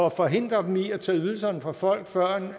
at forhindre dem i at tage ydelserne fra folk førend